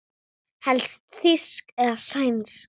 Helst þýsk eða sænsk.